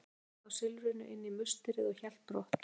Hann fleygði þá silfrinu inn í musterið og hélt brott.